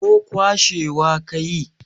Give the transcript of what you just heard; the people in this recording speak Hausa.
ko kwashewa ka yi?